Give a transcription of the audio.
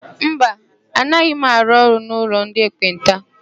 Mba, anaghị m arụ ọrụ n'ụlọ ndị ekpenta.